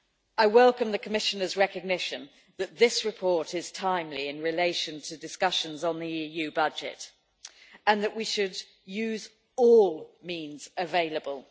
I welcome the Commissioner's recognition that this report is timely in relation to discussions on the EU budget, and that we should use all means available.